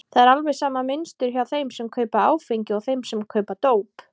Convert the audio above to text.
Það er alveg sama mynstur hjá þeim sem kaupa áfengi og þeim sem kaupa dóp.